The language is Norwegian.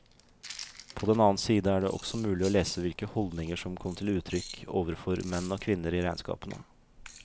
På den annen side er det også mulig å lese hvilke holdninger som kom til uttrykk overfor menn og kvinner i regnskapene.